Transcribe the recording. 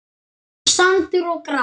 Sandur og gras.